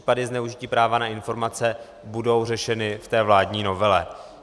Případy zneužití práva na informace budou řešeny v té vládní novele.